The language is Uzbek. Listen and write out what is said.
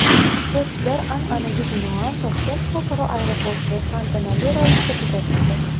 Sportchilar, an’anaga binoan, Toshkent xalqaro aeroportida tantanali ravishda kuzatildi.